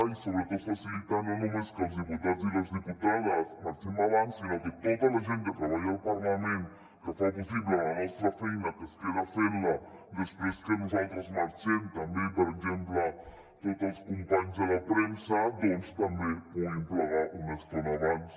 i sobretot facilitar no només que els diputats i les diputades marxem abans sinó que tota la gent que treballa al parlament que fa possible la nostra feina que es queda fent la després que nosaltres marxem per exemple tots els companys de la premsa doncs també puguin plegar una estona abans